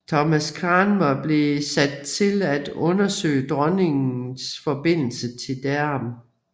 Thomas Cranmer blev sat til at undersøge dronningens forbindelse til Dereham